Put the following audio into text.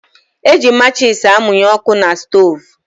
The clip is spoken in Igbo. Eji matchis amunye ọkụ na stoovú.